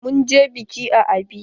Mun je biƙi a abia.